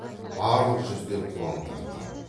барлық жүздер қуаң тартқан